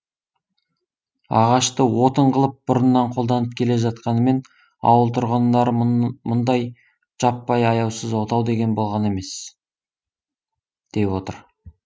ағашты отын қылып бұрыннан қолданып келе жатқанымен ауыл тұрғындары мұндай жаппай аяусыз отау деген болған емес деп отыр